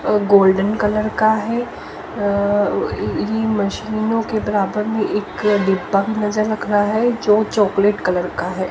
Golden colour का है इन मशीनों के बराबर में एक दीपक नजर रख रहा है जो चॉकलेट कलर का है।